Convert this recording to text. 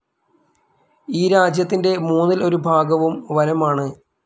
ഈ രാജ്യത്തിൻ്റെ മൂന്നിൽ ഒരു ഭാഗവും വനം ആണ്.